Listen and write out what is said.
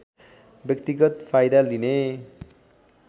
व्यक्तिगत फाइदा लिने